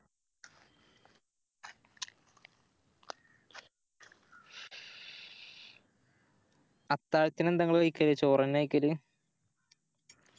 അത്താഴത്തിന് എന്താ ഇങ്ങള് കയ്ക്കല് ചോറെന്നെയാ കയ്ക്കല്